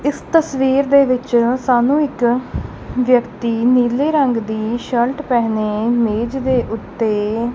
ਇਸ ਤਸਵੀਰ ਦੇ ਵਿੱਚ ਸਾਨੂੰ ਇੱਕ ਵਿਅਕਤੀ ਨੀਲੇ ਰੰਗ ਦੀ ਸ਼ਰਟ ਪਹਿਨੇ ਮੇਜ ਦੇ ਉੱਤੇ--